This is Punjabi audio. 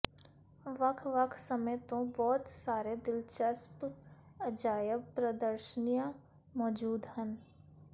ਵੱਖ ਵੱਖ ਸਮੇਂ ਤੋਂ ਬਹੁਤ ਸਾਰੇ ਦਿਲਚਸਪ ਅਜਾਇਬ ਪ੍ਰਦਰਸ਼ਨੀਆਂ ਮੌਜੂਦ ਹਨ